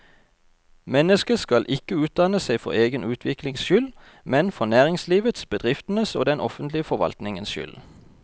Mennesket skal ikke utdanne seg for egen utviklings skyld, men for næringslivets, bedriftenes og den offentlige forvaltningens skyld.